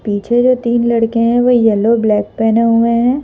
पीछे जो तीन लड़के हैं वो येलो ब्लैक पहने हुए हैं।